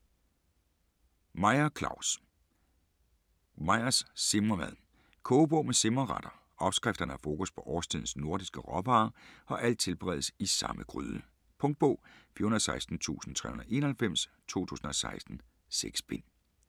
Meyer, Claus: Meyers simremad Kogebog med simreretter. Opskrifterne har fokus på årstidens nordiske råvarer og alt tilberedes i samme gryde. Punktbog 416391 2016. 6 bind.